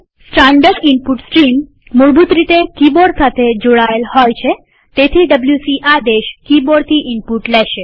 standard input stream મૂળભૂત રીતે keyboard સાથે જોડાયેલ હોય છેતેથી ડબ્લ્યુસી આદેશ કિબોર્ડથી ઈનપુટ લેશે